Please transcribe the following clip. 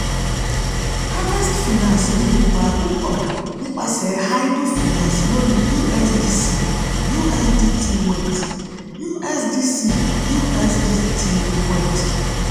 harvest finance ní ipa púpọ̀ nípasẹ̀ idle finance lórí usdc usdt weth. usdc usdt weth.